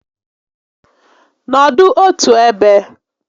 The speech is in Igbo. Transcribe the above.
Nọdụ otu ebe!